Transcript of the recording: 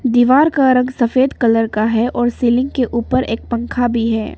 दीवार का रंग सफेद कलर का है और सीलिंग के ऊपर एक पंखा भी है।